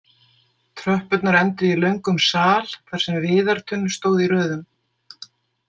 Tröppurnar enduðu í löngum sal þar sem viðartunnur stóðu í röðum.